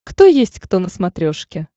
кто есть кто на смотрешке